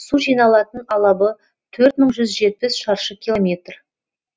су жиналатын алабы төрт мың жүз жетпіс шаршы километр